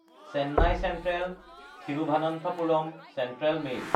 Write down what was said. Chennai চেন্ট্ৰেল–থিৰুভনন্থপুৰম central mail